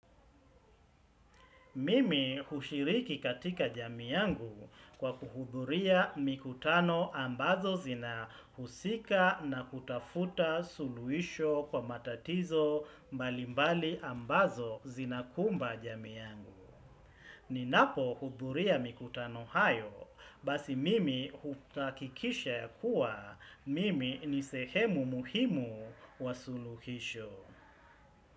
Mimi hushiriki katika jamii yangu kwa kuhudhuria mikutano ambazo zina husika na kutafuta suluhisho kwa matatizo mbali mbali ambazo zina kumba jamii yangu. Ninapo hudhuria mikutano hayo basi mimi huhakikisha ya kuwa mimi ni sehemu muhimu wa suluhisho.